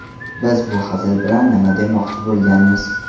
Biz bu hazil bilan nima demoqchi bo‘lganmiz.